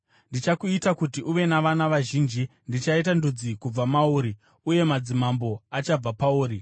Ndichakuita kuti uve navana vazhinji; ndichaita ndudzi kubva mauri, uye madzimambo achabva pauri.